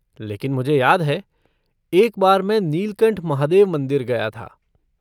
लेकिन मुझे याद है, एक बार मैं नीलकंठ महादेव मंदिर गया था।